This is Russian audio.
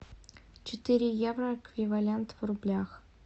четыре евро эквивалент в рублях